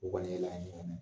U kɔni ye laɲini o mɛn